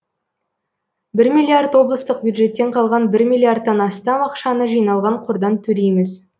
бір миллиард облыстық бюджеттен қалған бір миллиардтан астам ақшаны жиналған қордан төлейміз